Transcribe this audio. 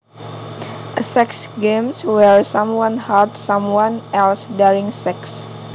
A sex game where someone hurts someone else during sex